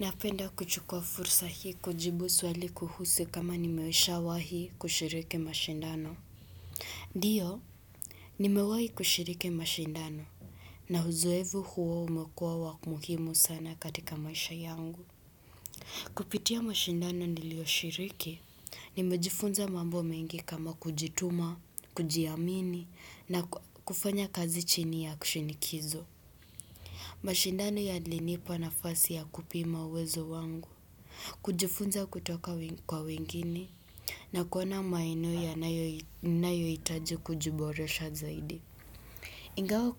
Napenda kuchukua fursa hii kujibu swali kuhusu kama nimeshawahi kushiriki mashindano. Ndio Nimewahi kushiriki mashindano, na uzoefu huo umekuwa wa muhimu sana katika maisha yangu Kupitia mashindano niliyoshiriki, nimejifunza mambo mengi kama kujituma, kujiamini na kufanya kazi chini ya shinikizo mashindano yalinipa nafasi ya kupima uwezo wangu, kujifunza kutoka kwa wengine, na kuona maeneo yanayo ninayohitaji kujiboresha zaidi. Ingawa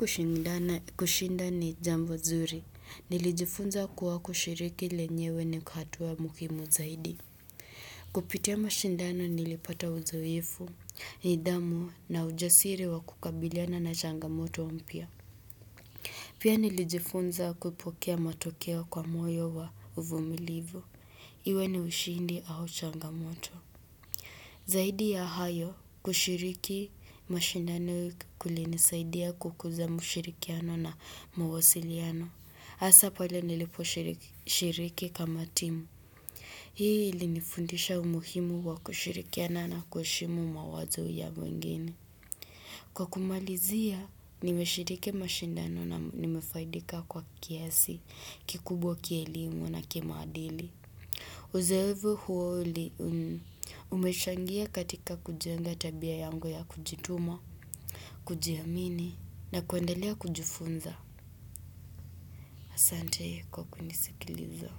kushinda ni jambo nzuri, nilijifunza kuwa kushiriki lenyewe ni hatua muhimu zaidi. Kupitia mashindano nilipata uzoefu, nidhamu na ujasiri wa kukabiliana na changamoto mpya. Pia nilijifunza kupokea matokeo kwa moyo wa uvumilivu. Iwe ni ushindi au changamoto. Zaidi ya hayo kushiriki mashindano kulinisaidia kukuza mshirikiano na mawasiliano. Hasa pale niliposhiriki kama timu. Hii ilinifundisha umuhimu wa kushirikiana na kuheshimu mawazo ya wengine. Kwa kumalizia, nimeshiriki mashindano na nimefaidika kwa kiasi kikubwa kielimu na kimaadili. Uzoefu huo umechangia katika kujenga tabia yangu ya kujituma, kujiamini na kuendelea kujifunza. Asante kwa kunisikiliza.